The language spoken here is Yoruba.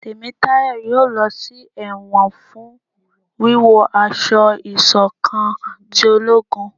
Temitayo yóò lọ sí ẹwọn fún wíwo aṣọ ìṣọ̀kan tí ológún